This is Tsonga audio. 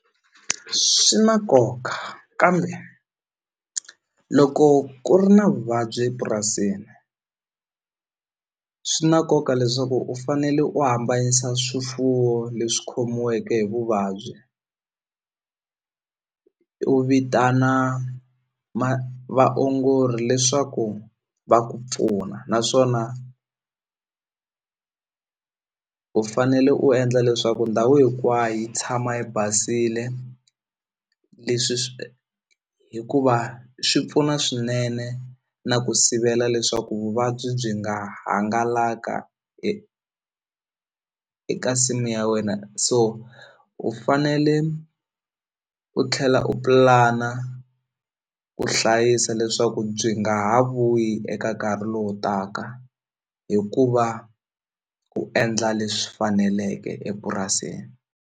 Swi na nkoka kambe loko ku ri na vuvabyi epurasini swi na nkoka leswaku u fanele u hambanyisa swifuwo leswi khomiweke hi vuvabyi u vitana vaongori leswaku va ku pfuna naswona u fanele u endla leswaku ndhawu hinkwayo yi tshama yi basile leswi swi hikuva swi pfuna swinene na ku sivela leswaku vuvabyi byi nga hangalaka eka nsimu ya wena so u fanele u tlhela u pulana ku hlayisa leswaku byi nga ha vuyi eka nkarhi lowu taka hi ku va u endla leswi faneleke epurasini.